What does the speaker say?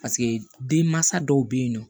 Paseke den mansa dɔw bɛ yen nɔ